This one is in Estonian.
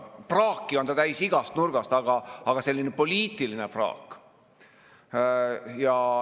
Praaki on ta täis igast nurgast, aga see on selline poliitiline praak.